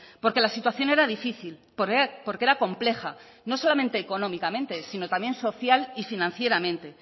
porque la situación era difícil porque era compleja no solamente económicamente sino también social y financieramente